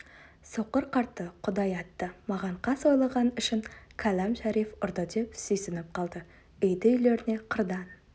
соқыр қартты құдай атты маған қас ойлаған үшін кәләм шариф ұрды деп сүйсініп қалды үйді-үйлеріне қырдан